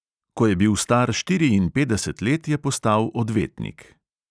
Ko je bil star štiriinpetdeset let, je postal odvetnik.